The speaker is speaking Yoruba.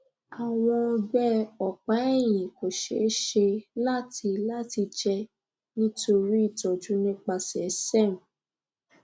awọn ọgbẹ ọpaẹhin ko ṣee ṣe lati lati jẹ nitori itọju nipasẹ serm